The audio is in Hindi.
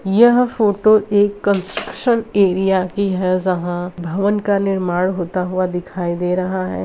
यह फोटो एक कंस्ट्रक्शन एरिया की है जहाँ भवन का निर्माण होता हुआ दिखाई दे रहा है |